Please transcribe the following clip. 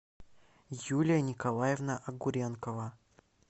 юлия николаевна огуренкова